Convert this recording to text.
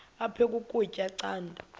aphek ukutya canda